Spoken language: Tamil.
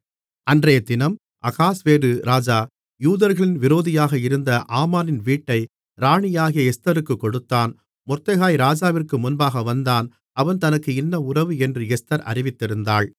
அன்றையதினம் அகாஸ்வேரு ராஜா யூதர்களின் விரோதியாக இருந்த ஆமானின் வீட்டை ராணியாகிய எஸ்தருக்குக் கொடுத்தான் மொர்தெகாய் ராஜாவிற்கு முன்பாக வந்தான் அவன் தனக்கு இன்ன உறவு என்று எஸ்தர் அறிவித்திருந்தாள்